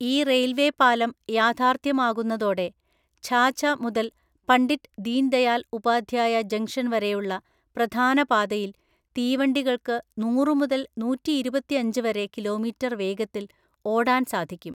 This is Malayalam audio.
ഈ റെയില്‍വേ പാലം യാഥാര്ഥ്യമാകുന്നതോടെ ഝാഝ മുതല്‍ പണ്ഡിറ്റ് ദീന്‍ ദയാല്‍ ഉപാധ്യായ ജംങ്ഷന്‍ വരെയുള്ള പ്രധാന പാതയില്‍ തീവണ്ടികള്‍ക്ക് നൂറു മുതല്‍ നൂറ്റിയിരുപത്തഞ്ച് വരെ കിലോമീറ്റര്‍ വേഗത്തില്‍ ഓടാന്‍ സാധിക്കും.